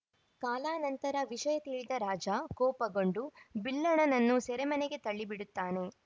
ಕಾಲಾನಂತರ ವಿಷಯ ತಿಳಿದ ರಾಜ ಕೋಪಗೊಂಡು ಬಿಲ್ಹಣನನ್ನು ಸೆರೆಮನೆಗೆ ತಳ್ಳಿಬಿಡುತ್ತಾನೆ